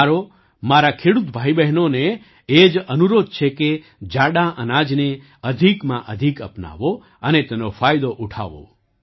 મારો મારા ખેડૂત ભાઈબહેનોને એ જ અનુરોધ છે કે જાડાં અનાજને અધિકમાં અધિક અપનાવો અને તેનો ફાયદો ઉઠાવો